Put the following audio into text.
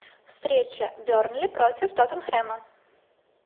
встреча бернли против тоттенхэма